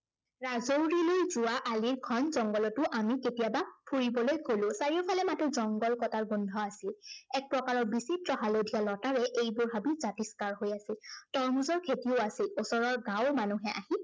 ৰাজাওলিলৈ যোৱা আলিৰ ঘন জংঘলতো আমি কেতিয়াবা ফুৰিবলৈ গলো। চাৰিওফালে মাথো জংঘল কটাৰ গন্ধ আছিল। এক প্ৰকাৰৰ বিচিত্ৰ হালধীয়া লতাৰে এইবোৰ হাবি জাতিস্কাৰ হৈ আছিল। তৰমুজৰ খেতিও আছিল। ওচৰৰ গাঁৱৰ মানুহে আহি